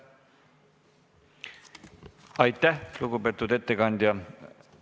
Aitäh, lugupeetud ettekandja!